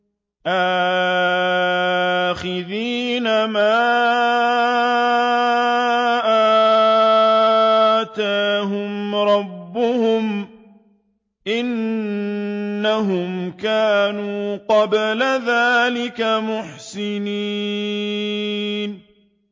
آخِذِينَ مَا آتَاهُمْ رَبُّهُمْ ۚ إِنَّهُمْ كَانُوا قَبْلَ ذَٰلِكَ مُحْسِنِينَ